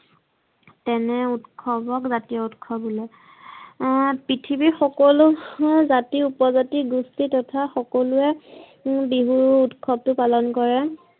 তেনে ঊৎসৱক জতিয় ঊৎসৱ বোলে। হম পৃঠিৱীৰ সকোলো জাতি, উপজাতি, গোষ্ঠি তথা সকলোৱে বিহু উৎসৱতো পালন কৰে।